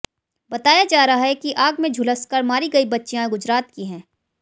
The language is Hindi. बताया जा रहा है कि आग में झुलसकर मारी गई बच्चियां गुजरात की हैं